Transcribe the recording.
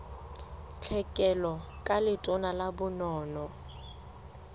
tlhekelo ka letona la bonono